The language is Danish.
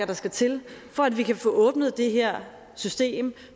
der skal til for at vi kan få åbnet det her system